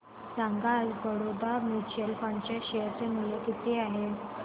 सांगा आज Baroda mutual fund च्या शेअर चे मूल्य किती आहे